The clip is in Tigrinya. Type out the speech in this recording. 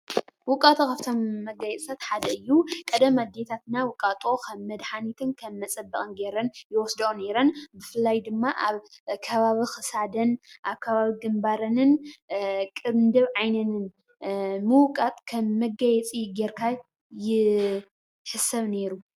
ውቃጦ ካብቶም መጋየፂታት ሓደ እዩ፡፡ ቀደም ኣዴታትና ውቃጦ ከም መድሓኒትን ከም መፀበቕን ገይረን ይወስድኦ ነይረን፡፡ ብፍላይ ድማ ኣብ ከባቢ ክሳደን፣ ኣብ ከባቢ ግንባረንን ቅንድብ ዓይነንን ምውቃጥ ከም መጋየፂ ጌርካ ይሕሰብ ነይሩ፡፡